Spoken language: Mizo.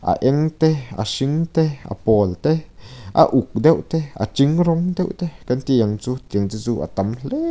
a eng te a hring te a pawl te a uk deuh te a ting rawng deuh te kan ti ang chu tiang te chu a tam hle--